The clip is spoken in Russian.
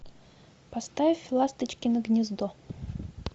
поставь ласточкино гнездо